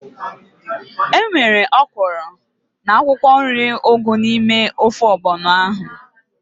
Enwere ọkwụrụ na akwụkwọ nri ugu n'ime ofe ọgbọnọ ahu